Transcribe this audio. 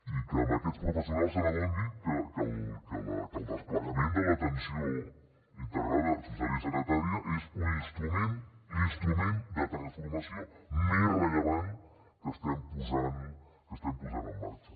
i que amb aquests professionals s’adoni que el desplegament de l’atenció integrada social i sanitària és un instrument l’instrument de transformació més rellevant que estem posant en marxa